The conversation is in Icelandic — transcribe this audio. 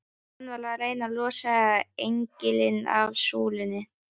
Hann var að reyna að losa engilinn af súlunni!